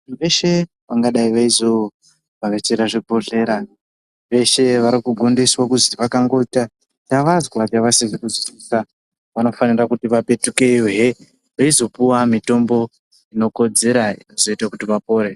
Veshe vangadai veizovhakachira zvibhedhlera veshe varikugondiswa kuzi vakangoita chavazwa chavasizi kuzwisisa vanofanira kuti vakupetukeyohe veizopuwa mitombo inokodzera inozoita kuti vapore.